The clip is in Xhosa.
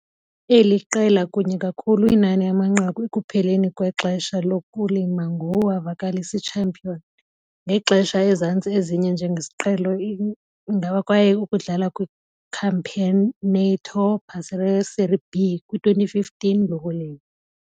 Eli qela kunye kakhulu inani amanqaku ekupheleni kwexesha lokulima ngu wavakalisa champion, ngexesha ezantsi ezine njengesiqhelo ingaba relegated kwaye ukudlala kwi - Campeonato Brasileiro Série B kwi-2015 lokulima.